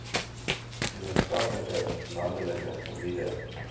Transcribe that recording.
gemeenskappe landelike gebiede